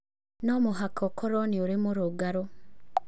No mũhaka ũkorũo ũrĩ mũrũngarũ